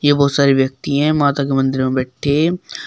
बहोत सारे व्यक्ति हैं माता की मंदिर में बैठे हैं।